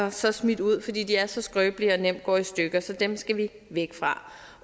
og så smidt ud fordi de er så skrøbelige og nemt går i stykker så dem skal vi væk fra